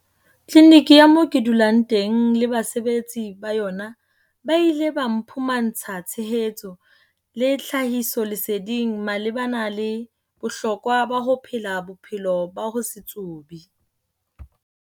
"Tliniki ya moo ke dulang teng le basebetsi ba yona ba ile ba mphumantsha tshehetso le tlhahisoleseding malebana le bohlokwa ba ho phela bophelo ba ho se tsube."